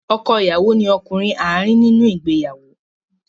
Ọkọ ìyàwó ni ọkùnrin àárín nínú ìgbéyàwó.